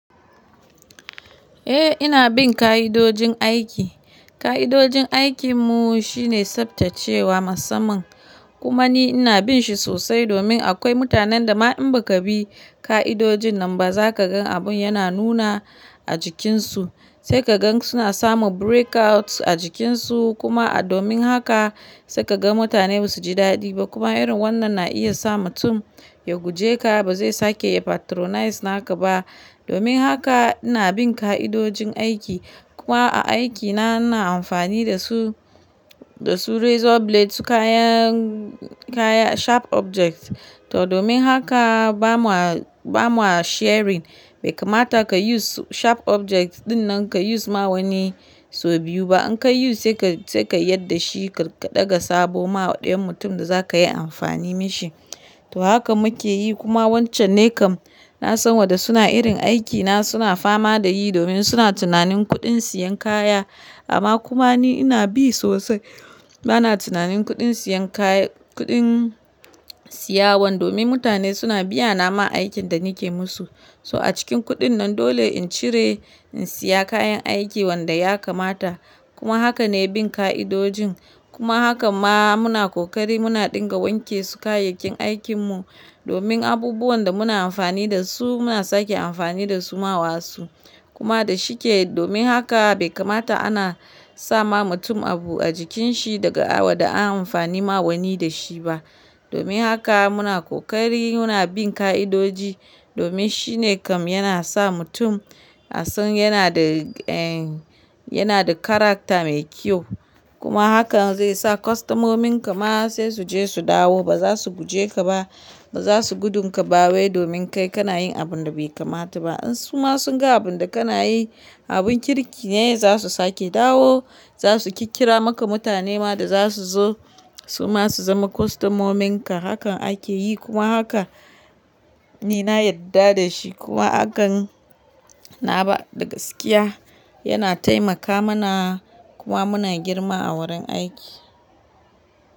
Eh ina bin ka'idojin aiki. Ka'idojin aikin mu shine tsaftacewa musamman. Kuma ni ina bin shi sosai domin akwai mutanen da ma in ba ka bi ka'idojin nan ba za ka gan abun yana nuna a jikinsu. Sai ka gan suna samu breakouts a jikinsu kuma a domin haka sai ka gan mutane ba su ji daɗi ba. Kuma irin wannan na iya sa mutum ya guje ka ba zai sake patronize naka ba. Domin haka ina bin ka'idojin aiki. Kuma a aikina ina amfani da su, da su razor blades su kayan, kaya sharp objects. To domin haka ba ma, ba ma sharing. Bai kamata ka use sharp object ɗin nan ka use ma wani so biyu ba. In ka use sai ka, sai ka yadda shi ka ɗaga sabo ma ɗayan mutum da za ka yi amfani mishi. To haka muke yi kuma wancan ne kam na san waɗanda suna irin aikina suna fama da yi domin suna tunanin kuɗin siyan kaya. Amma kuma ni ina bi sosai. Bana tunanin kuɗin siyan kaya, kuɗin siyawan domin mutane suna biya na ma aikin da nike musu. So a cikin kuɗin nan dole in cire in siya kayan aiki wanda ya kamata. Kuma haka ne bin ka'idojin. Kuma haka ma muna kokari muna ɗinga wanke su kayayyakin aikin mu domin abubuwan da muna amfani da su muna sake amfani da su ma wasu. Kuma da shike domin haka bai kamata ana sa ma mutum abu a jikin shi daga awada an amfani ma wani da shi ba. Domin haka muna kokari muna bin ka'idoji domin shi ne kam yana sa mutum a san yana da en, yana da character mai kyau. Kuma hakan zai sa kwastomomin ka ma sai su je su dawo ba za su guje ka ba. Ba za su gudu ka ba wai domin kai kana yin abun da bai kamata ba. In su ma sun ga abun da kana yi abun kirki ne zasu sake dawo. Zasu kirkira maka mutane ma da za su zo su ma su zama kwastomomin ka. Hakan ake yi kuma haka ni na yadda da shi. Kuma hakan na ba da gaskiya yana taimaka mana kuma muna girma a wurin aiki.